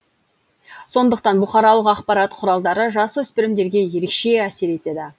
сондықтан бұқаралық ақпарат құралдары жасөспірімдерге ерекше әсер етеді